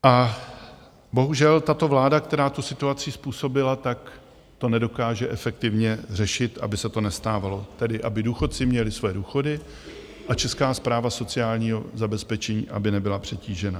A bohužel tato vláda, která tu situaci způsobila, tak to nedokáže efektivně řešit, aby se to nestávalo, tedy aby důchodci měli svoje důchody a Česká správa sociálního zabezpečení, aby nebyla přetížená.